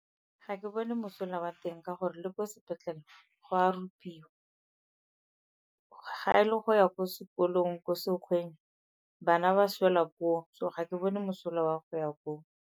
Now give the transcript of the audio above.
Ga ke bone mosola wa teng ka gore le kwa sepetlele go a rupiwa. Ga e le go ya ko sekolong, ko sekgweng, bana ba swela koo so ga ke bone mosola wa go ya koo.